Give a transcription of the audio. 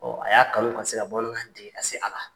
a y'a kanu ka se ka bamanankan dege ka se a la.